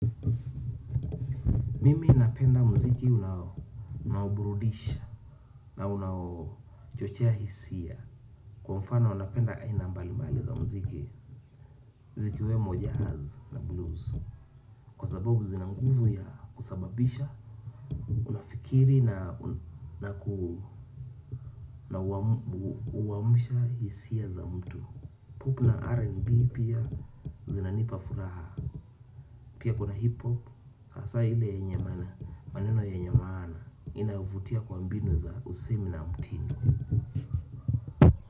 Mimi napenda muziki unaoburudisha na unaochochea hisia. Kwa mfano napenda aina mbalimbali za muziki zikiwemo jazz na blues. Kwa sababu zina nguvu ya kusababisha unafikiri na huamsha hisia za mtu. Pop na R&B pia zinanipa furaha pia kuna hip hop hasa ile yenye maneno yenye maana inavutia kwa mbinu ya usemi na mtindo.